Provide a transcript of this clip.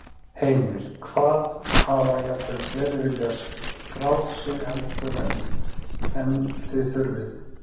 Heimir: Hvað, hafa jafnvel fleiri viljað skráð sig heldur en, en þið þurfið?